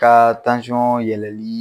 Ka tansɔn yɛlɛli.